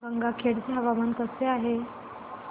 गंगाखेड चे हवामान कसे आहे